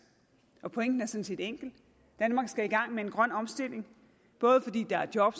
og pointen er sådan set enkel danmark skal i gang med en grøn omstilling både fordi der er job